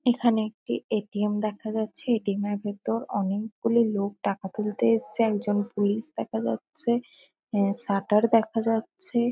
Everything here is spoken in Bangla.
এখানে একটি এ.টি.এম দেখা যাচ্ছে। এ.টি.এম -এর ভেতর অনেকগুলি লোক টাকা তুলতে এসেছে। একজন পুলিশ দেখা যাচ্ছে। এ শাটার দেখা যাচ্ছে।